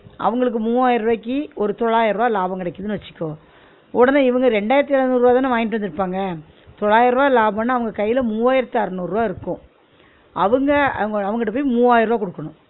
அவுங்களுக்கு மூவாயிர ருவாயிக்கு ஒரு தொள்ளாயிர ருவா லாபம் கிடைகிதுன்னு வச்சுக்கோ, உடனே இவுங்க ரெண்டாயிரத்து எழநூறு ருவாயி தானே வாங்கிட்டு வந்திருப்பாங்க, தொள்ளாயிரம் ருவா லாபம்ன்னா அவுங்க கையில மூவாயிரத்து அரநூறு ருவா இருக்கும் அவுங்க அவங்ககிட்ட போய் மூவாயிர ருவா குடுக்கணும்